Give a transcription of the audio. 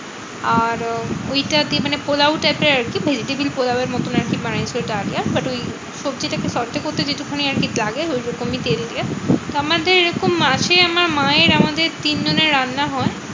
আর ওইটা দিয়ে মানে পোলাও type এর আরকি। vegetable পোলাও এর মতন আরকি বানিয়েছে ডালিয়া। but ওই সবজিটা কে short এ করতে যেটুকুখানি আরকি লাগে ঐরকমই তেল দিয়ে। আমাদের এরকম মাসে আমার মায়ের আমাদের তিনজনের রান্না হয়।